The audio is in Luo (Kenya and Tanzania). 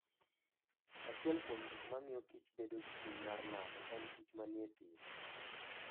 Achiel kuom gik mamiyo kich bedo gi chuny mar nano en kich manie thim.